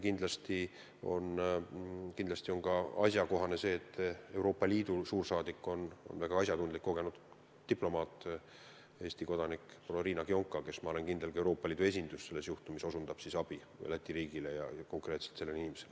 Kindlasti on asjakohane ka see – olen selles kindel –, et Euroopa Liidu suursaadik, väga asjatundlik ja kogenud diplomaat, Eesti kodanik Riina Kionka osutab selles juhtumis abi Läti riigile ja konkreetselt sellele inimesele.